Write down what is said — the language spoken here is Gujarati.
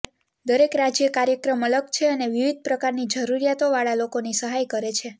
દરેક રાજ્ય કાર્યક્રમ અલગ છે અને વિવિધ પ્રકારની જરૂરિયાતોવાળા લોકોની સહાય કરે છે